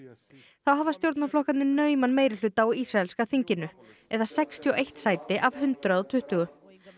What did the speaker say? þá hafa stjórnarflokkarnir nauman meirihluta á ísraelska þinginu eða sextíu og eitt sæti af hundrað og tuttugu